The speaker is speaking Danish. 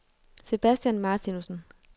Sebastian Martinussen